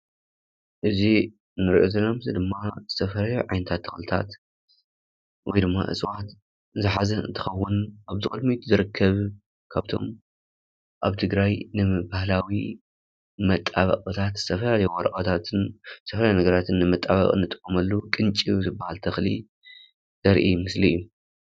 እዚ እንሪኦ ዘለና ምስሊ ድማ ዝተፈላለዩ ዓይነታት ተክሊታት ወይ ድማ እፅዋት ዝሓዘ እንትከው ኣብ ቅድሚት ዝርከብ ካብቶም ኣብ ንትግራይንባህላዊ መጣበቂታት ዝተፈላለዩ ወረቀታትን ዝተፈላለየ ነገራት ንምጥባቅ እንጥቀመሉ ቅንጭብ ዝበሃል ተክሊ እዩ ዘርኢ ምስሊ እዩ።